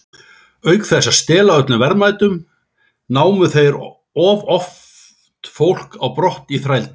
Auk þess að stela öllum verðmætum, námu þeir oft fólk á brott í þrældóm.